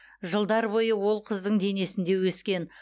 жылдар бойы ол қыздың денесінде өскен